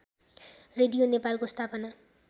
radio नेपालको स्थापना